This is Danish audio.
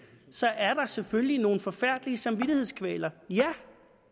så er der selvfølgelig nogle forfærdelige samvittighedskvaler ja